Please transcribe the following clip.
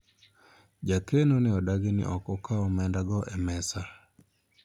jakeno ne odagi ni ne ok okawo omenda go e mesa